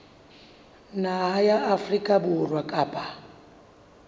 naha ya afrika borwa kapa